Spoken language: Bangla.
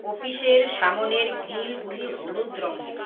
অফিসের সামোনের গ্রিলগুলি হলুদ রঙের।